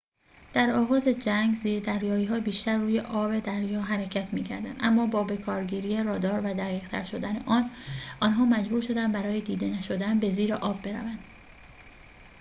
در آغاز جنگ زیردریایی‌ها بیشتر روی آب دریا حرکت می‌کردند اما با بکارگیری رادار و دقیق‌تر شدن آن آنها محبور شدند برای دیده نشدن به زیر آب بروند